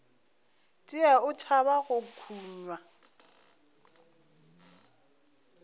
tšee o tšhaba go kunywa